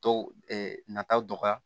Tɔ nataw dɔgɔya